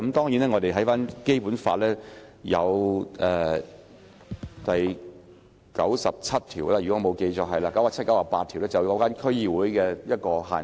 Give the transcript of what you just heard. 如果我沒有記錯，《基本法》第九十七和九十八條有提及關於區議會的限制。